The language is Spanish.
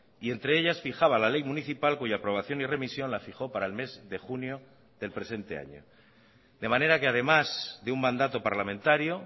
y entre ellas fijaba la ley municipal cuya aprobación y remisión la fijó para el mes de junio del presente año de manera que además de un mandato parlamentario